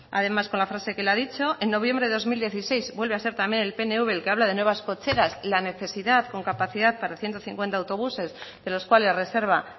además con la frase que él ha dicho en noviembre de dos mil dieciséis vuelve a ser también el pnv el que habla de nuevas cocheras la necesidad con capacidad para ciento cincuenta autobuses de los cuales reserva